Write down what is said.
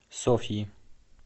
софьи